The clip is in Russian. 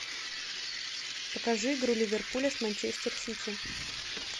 покажи игру ливерпуля с манчестер сити